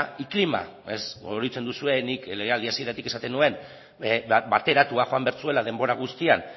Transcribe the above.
y clima oroitzen duzue nik legealdi hasieratik esaten nuen bateratuak joan behar zuela denbora guztian